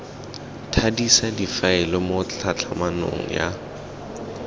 thadisa difaele mo tlhatlhamanong ya